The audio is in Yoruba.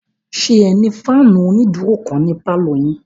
Ṣé ẹ ní fáànù onídúró kan ní pálọ̀ yín?